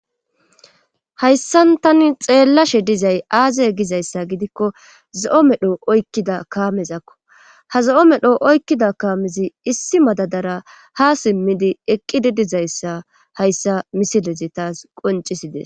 Hayssan tani xeellashe dizay aaze gizayssa gidikko zo'o medho oykkida kaamezakko ha zo'o medho oykkida kaamezi issi madadara ha simmidi eqqidi dizayssa hayssa misilezi taas qoncisides